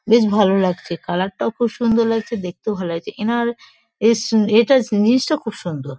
বেশ ভালো লাগছে কালার -টাও খুব সুন্দর লাগছে দেখতেও ভাল লাগছে এনার এস এ টা জিনিসটা খুব সুন্দর।